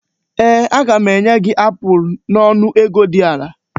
Ee! Aga m enye gị apụl n'ọnụ ego dị ala.